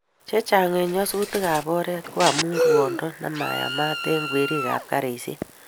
Chechang' eng' nyasutik ab oret ko amun rwando nemayamat eng' kwerik ap karisyek.